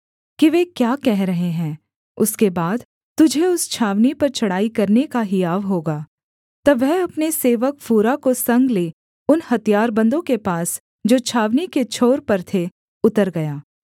कि वे क्या कह रहे हैं उसके बाद तुझे उस छावनी पर चढ़ाई करने का हियाव होगा तब वह अपने सेवक फूरा को संग ले उन हथियारबन्दों के पास जो छावनी के छोर पर थे उतर गया